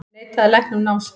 Neitaði lækni um námsferð